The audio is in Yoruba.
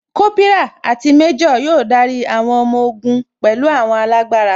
Kópírà àti méjò yóò darí àwọn ọmọ ogun pẹ̀lú àwọn alágbára